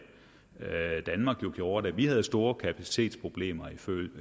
danmark gjorde da vi havde store kapacitetsproblemer